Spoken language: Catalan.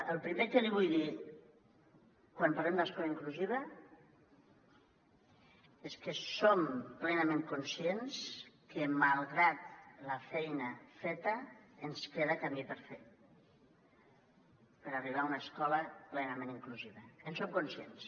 el primer que li vull dir quan parlem d’escola inclusiva és que som plenament conscients que malgrat la feina feta ens queda camí per fer per arribar a una escola plenament inclusiva en som conscients